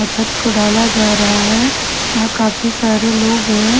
छत को डाला जा रहा है यहाँ काफी सारे लोग है।